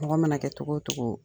Mɔgɔ mana kɛ cogo o cogo.